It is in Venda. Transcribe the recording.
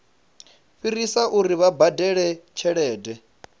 fhirisa uri vha badele tshelede